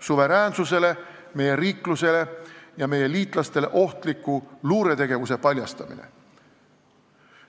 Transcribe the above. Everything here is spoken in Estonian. suveräänsusele, meie riiklusele ja meie liitlastele ohtliku luuretegevuse paljastamine.